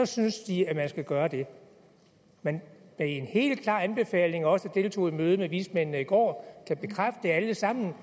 synes de at man skal gøre det men det er en helt klar anbefaling og vi der deltog i mødet med vismændene i går kan alle sammen